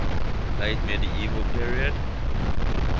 late medieval period